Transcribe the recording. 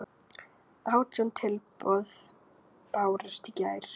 Átján tilboð bárust í gær.